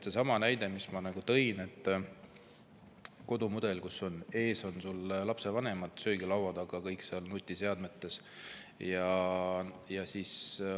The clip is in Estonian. Seesama näide, mis ma tõin sellise kodumudeli kohta, kus kodus on lapsed ja vanemad söögilaua taga ja kõik on nutiseadmetes.